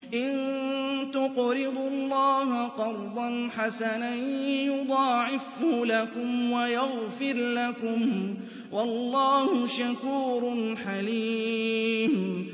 إِن تُقْرِضُوا اللَّهَ قَرْضًا حَسَنًا يُضَاعِفْهُ لَكُمْ وَيَغْفِرْ لَكُمْ ۚ وَاللَّهُ شَكُورٌ حَلِيمٌ